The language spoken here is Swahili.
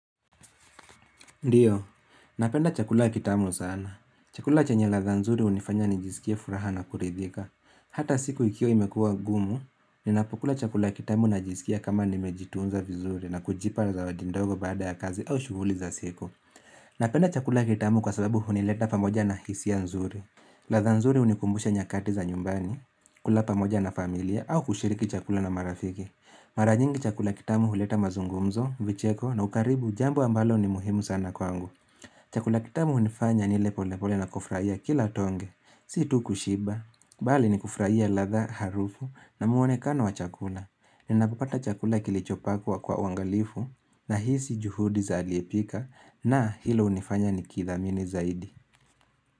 Ndiyo, napenda chakula kitamu sana. Chakula chenye latha nzuri hunifanya nijisikie furaha na kuridhika. Hata siku ikiwa imekuwa ngumu, ninapokula chakula kitamu najisikia kama nimejitunza vizuri na kujipa zawadi ndogo baada ya kazi au shughuli za siku. Napenda chakula kitamu kwa sababu hunileta pamoja na hisia nzuri. Latha nzuri hunikumbusha nyakati za nyumbani, kula pamoja na familia, au kushiriki chakula na marafiki. Mara nyingi chakula kitamu huleta mazungumzo, vicheko na ukaribu jambo ambalo ni muhimu sana kwangu Chakula kitamu hunifanya nile pole pole na kufurah ia kila tonge Si tu kushiba Bali ni kufurahia latha harufu na muonekano wa chakula Ninapopata chakula kilichopikwa kwa uangalifu Nahisi juhudi za aliyepika na hilo hunifanya nikithamini zaidi.